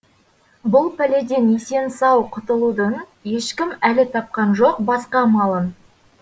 бұл пәләден есен сау құтылудың ешкім әлі тапқан жоқ басқа амалын